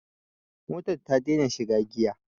Mota ta ta dena shiga giya